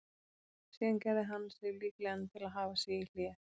Síðan gerði hann sig líklegan til að hafa sig í hlé.